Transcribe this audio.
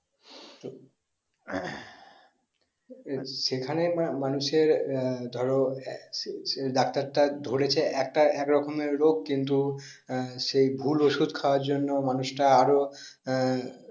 এ যেখানে মানুষ আর ধরো ডাক্তার তা ধরেছে একটা একরকমের রোগ কিন্তু আর সেই ভুল ওষুধ খাওয়ার জন্য মানুষটা আরো আহ